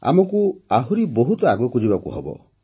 ଆମକୁ ଆହୁରି ବହୁତ ଆଗକୁ ଯିବାକୁ ହେବ